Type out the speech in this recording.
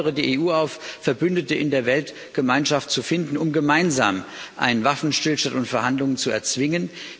Ich fordere die EU auf, Verbündete in der Weltgemeinschaft zu finden, um gemeinsam einen Waffenstillstand und Verhandlungen zu erzwingen.